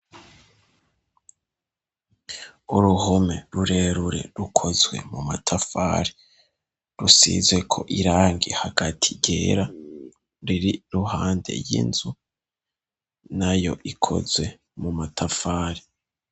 Uruhome rurerure rukozwe mu matafari, rusizeko irangi hagati ryera riri iruhande y'inzu nayo ikozwe mu matafari.